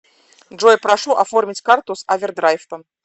джой прошу оформить карту с овердрайфтом